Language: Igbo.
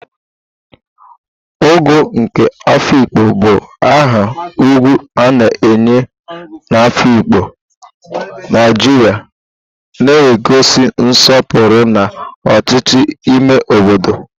Ogo nke Afikpo bụ aha ugwu a na-enye na Afikpo, Naijiria, na-egosi nsọpụrụ na ọchịchị n'ime obodo.